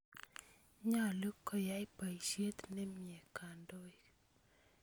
Nyalu koyai poisyet ne mye kandoik